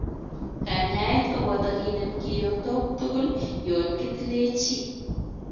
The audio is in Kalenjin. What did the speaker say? Kanyaet kopotoo kineem kiyotok tugul yoon kitilee chii.